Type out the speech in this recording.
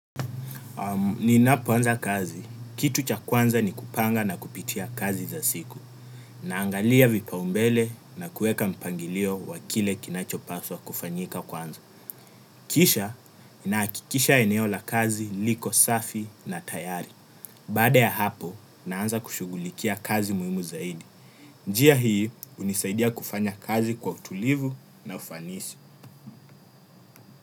Nina poanza kazi. Kitu cha kwanza ni kupanga na kupitia kazi za siku. Na angalia vipaumbele na kueka mpangilio wa kile kinachopaswa kufanyika kwanza. Kisha nakikisha eneo la kazi liko safi na tayari. Bada ya hapo naanza kushugulikia kazi muhimu zaidi. Njia hii unisaidia kufanya kazi kwa utulivu na ufanisi.